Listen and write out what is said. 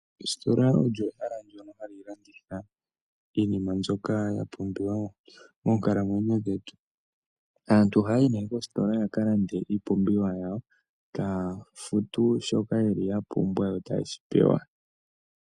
Ositola olyo ehala ndoka halilanditha iinima mbyoka yapumbwiwa monkalamwenyo dhetu , aantu ohayayi ne koositola yakalande iipumbiwa yawo tafutu shoka yeli yapumbwa yo tayeshipewa.